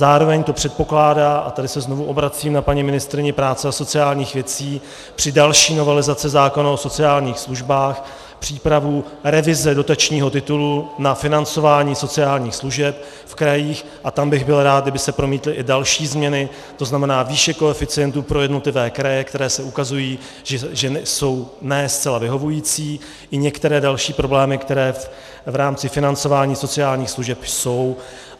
Zároveň to předpokládá, a tady se znovu obracím na paní ministryni práce a sociálních věcí, při další novelizaci zákona o sociálních službách přípravu revize dotačního titulu na financování sociálních služeb v krajích a tam bych byl rád, kdyby se promítly i další změny, to znamená výše koeficientů pro jednotlivé kraje, které se ukazují, že jsou ne zcela vyhovující, i některé další problémy, které v rámci financování sociálních služeb jsou.